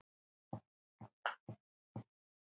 Hvernig stóð á því?